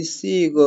Isiko